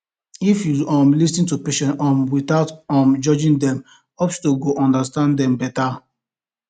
if you um lis ten to patient um without um judge dem hospital go understand dem better